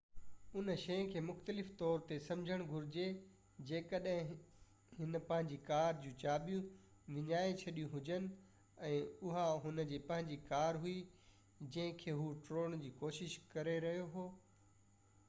ھن شئي کي مختلف طور تي سمجهڻ گهرجي جيڪڏهن هن پنهنجي ڪار جون چاٻيون وڃائي ڇڏيون هجن ۽ اها هن جي پنهنجي ڪار هئي جنهن کي هو ٽوڙڻ جي ڪوشش ڪري رهيو هو